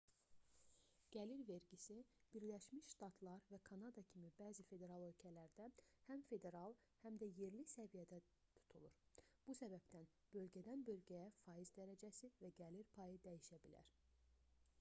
gəlir vergisi birləşmiş ştatlar və kanada kimi bəzi federal ölkələrdə həm federal həm də yerli səviyyədə tutulur bu səbəbdən bölgədən-bölgəyə faiz dərəcəsi və gəlir payı dəyişə bilər